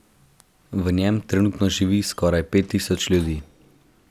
V njem trenutno živi skoraj pet tisoč ljudi.